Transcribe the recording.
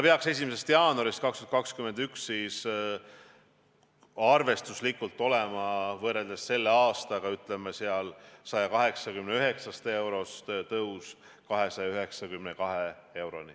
1. jaanuarist 2021 peaks arvestuslikult olema, võrreldes selle aastaga, tõus 189 eurost 292 euroni.